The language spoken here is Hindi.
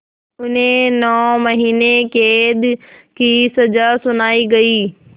उन्हें नौ महीने क़ैद की सज़ा सुनाई गई